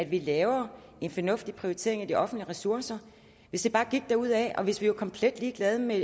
vi laver en fornuftig prioritering af de offentlige ressourcer hvis det bare gik derudad og hvis vi var komplet ligeglade med